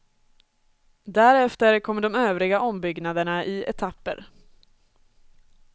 Därefter kommer de övriga ombyggnaderna i etapper.